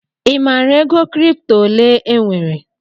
I maara ego kripto ole enwere?